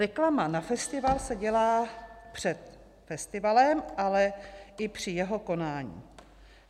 Reklama na festival se dělá před festivalem, ale i při jeho konání.